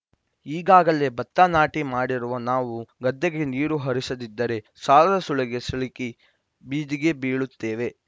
ಈಗಾಗಲೇ ಬತ್ತ ನಾಟಿ ಮಾಡಿರುವ ನಾವು ಗದ್ದೆಗೆ ನೀರು ಹರಿಸದಿದ್ದರೆ ಸಾಲದ ಸುಳಿಗೆ ಸಿಲುಕಿ ಬೀದಿಗೆ ಬೀಳುತ್ತೇವೆ